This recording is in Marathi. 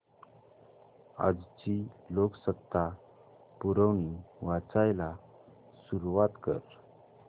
आजची लोकसत्ता पुरवणी वाचायला सुरुवात कर